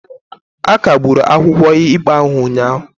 A kagburu akwụkwọ ikpe ahụ ụnyahụ.